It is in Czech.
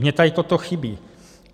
Mně tady toto chybí.